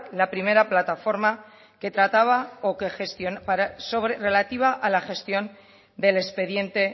la primera plataforma que trataba relativa a la gestión del expediente